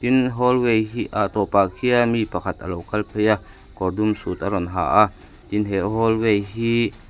tin hallway hi ah tawpah khian mi pakhat alo kal phei a kawr dum sut a rawn ha a tin he hallway hi --